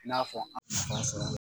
I n'a fɔ an nafa sɔrɔla.